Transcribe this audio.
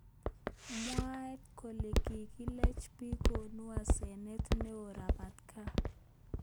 Mwaat kele kikilech bik konu asenet neo robatak.